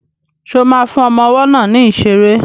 Ṣo ma fún ọmọ ọwọ́ náà ní ìṣeré?